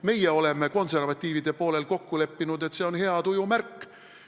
Meie oleme konservatiivide poolel kokku leppinud, et see on hea tuju märk.